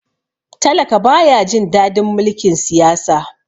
talaka ba ya Jin dadin mulkin Siyasa